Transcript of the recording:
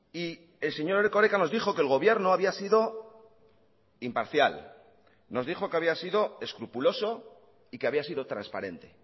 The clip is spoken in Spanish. y el señor erkoreka nos dijo que el gobierno había sido imparcial nos dijo que había sido escrupuloso y que había sido transparente